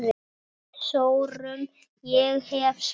Við sórum, ég hef svarið.